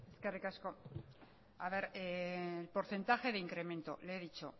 eskerrik asko porcentaje de incremento le he dicho